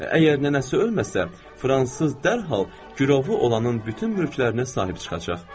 Əgər nənəsi ölməsə, fransız dərhal gürovu olanın bütün mülklərinə sahib çıxacaq.